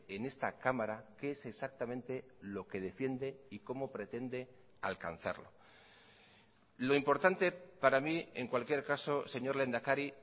en esta cámara qué es exactamente lo que defiende y cómo pretende alcanzarlo lo importante para mí en cualquier caso señor lehendakari